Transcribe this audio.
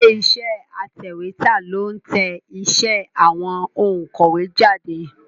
Ilé iṣẹ́ atẹ̀wétà ló ń tẹ iṣẹ́ àwọn òǹkọ̀wé jáde.